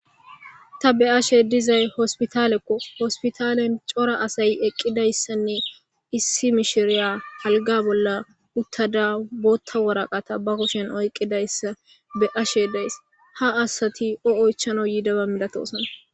Ta be ashe dizay hospitalekko hospitalen cora asay eqqidayssanne issi mishiriya halga bolla uttada bootta woraqata ba kushen oyqqidayssa be ashe days ha asati o oychano yiidaba midatosana